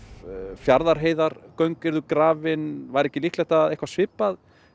Fjarðarheiðargöng yrðu grafin væri líklegt að eitthvað svipað